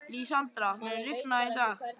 Lísandra, mun rigna í dag?